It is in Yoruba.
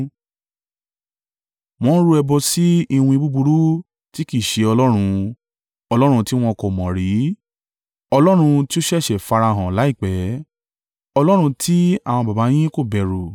Wọ́n rú ẹbọ sí iwin búburú, tí kì í ṣe Ọlọ́run, ọlọ́run tí wọn kò mọ̀ rí, ọlọ́run tí ó ṣẹ̀ṣẹ̀ farahàn láìpẹ́, ọlọ́run tí àwọn baba yín kò bẹ̀rù.